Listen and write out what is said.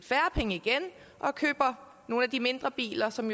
færre penge og køber nogle af de mindre biler som